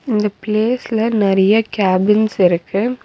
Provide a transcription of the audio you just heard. இந்தப் பிளேஸ்ல நெறைய கேபின்ஸ் இருக்கு.